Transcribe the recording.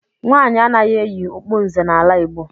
Nwaanyị anaghị eyi okpu nze n'ala Igbo.